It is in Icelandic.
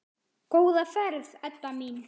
Góða ferð, Edda mín.